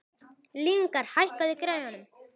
Lyngar, hækkaðu í græjunum.